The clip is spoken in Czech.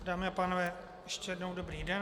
Dámy a pánové, ještě jednou dobrý den.